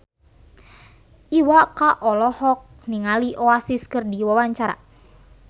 Iwa K olohok ningali Oasis keur diwawancara